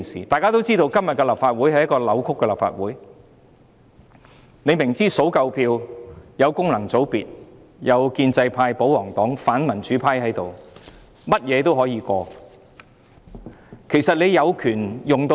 大家也知道，今天的立法會是一個扭曲的立法會，明知只要數夠票，得到功能界別、建制派、保皇黨和反民主派的支持，甚麼也可以通過。